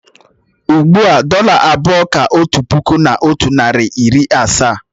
Ugbu a, dọ́là abụọ kà otu puku, otu narị na iri asaa